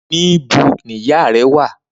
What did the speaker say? Nibò ni ìyá rè wà?